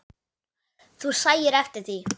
Þú sæir eftir því.